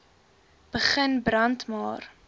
begin brand maar